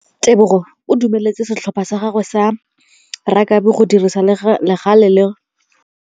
Tebogô o dumeletse setlhopha sa gagwe sa rakabi go dirisa le galê go tshameka.